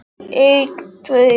Alltaf það sama og í sömu röð.